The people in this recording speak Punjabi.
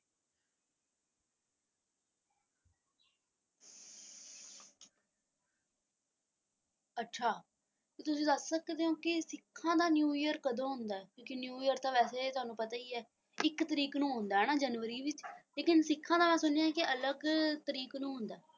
ਅੱਛਾ ਤੁਸੀਂ ਦੱਸ ਸਕਦੇ ਹੋ ਕਿ ਸਿੱਖਾਂ ਦਾ ਨਿਊ ਈਅਰ ਕਦੋਂ ਹੁੰਦਾ ਕਿਉਂਕਿ ਨਿਊ ਈਅਰ ਤਾਂ ਵੈਸੇ ਤੁਹਾਨੂੰ ਪਤਾ ਹੀ ਹੈ ਇੱਕ ਤਰੀਕ ਨੂੰ ਆਉਂਦਾ ਹੈ ਨਾ ਜਨਵਰੀ ਵਿੱਚ ਲੇਕਿਨ ਸਿੱਖਾਂ ਦਾ ਮੈਂ ਸੁਣਿਆ ਅਲਗ ਤਰੀਕ ਨੂੰ ਹੁੰਦਾ ਆ।